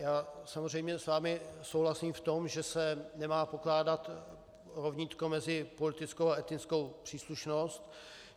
Já samozřejmě s vámi souhlasím v tom, že se nemá pokládat rovnítko mezi politickou a etnickou příslušnost.